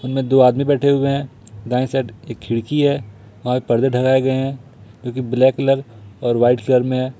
दो आदमी बैठे हुए हैं दाएं साइड एक खिड़की है और पर्दे ढ़काये गए हैं जोकि ब्लैक कलर और वाइट कलर में है।